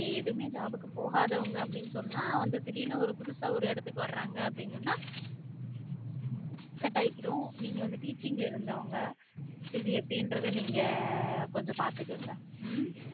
எதுவுமே job போகாதவங்க அப்படி சொன்னா வந்து திடீர்னு ஒரு புதுசா ஒரு இடத்துக்கு வராங்கன்னா அப்படின்னு சொன்னா செட் ஆகிடும் நீங்க வந்து teaching ல இருந்தவங்க இது எப்படின்றத நீங்க கொஞ்சம் பாத்துக்கங்க உம்